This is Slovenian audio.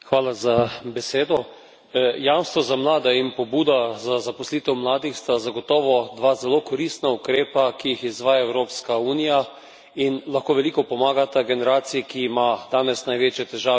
Jamstvo za mlade in pobuda za zaposlitev mladih sta zagotovo dva zelo koristna ukrepa, ki jih izvaja Evropska unija, in lahko veliko pomagata generaciji, ki ima danes največje težave pri zaposlovanju, to so mladi.